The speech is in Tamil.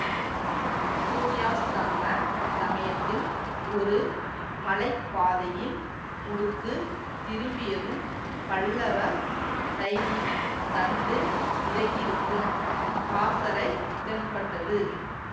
சூரியாஸ்தமன சமயத்தில் ஒரு மலை பாதையின் முடுக்கு திரும்பியதும் பல்லவ சைனியம் தண்டு இறங்கியிருக்கும் பாசறை தென்பட்டது